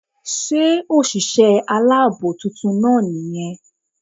Sé òsìsé alábò titun náà ní yan